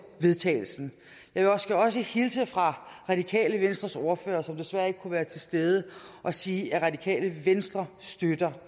vedtagelse jeg skal også hilse fra radikale venstres ordfører som desværre ikke kunne være til stede og sige at radikale venstre støtter